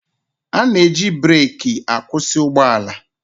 A na-eji breki akwụsị ụgbọala.